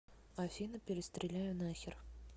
афина перестреляю нахер